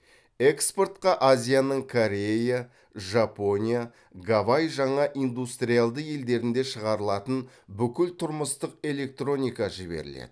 экспортқа азияның корея жапония гавай жаңа индустриялды елдерінде шығарылатын бүкіл тұрмыстық электроника жіберіледі